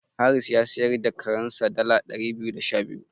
Haris ya siyar da karensa dala ɗari biyu da sha biyu.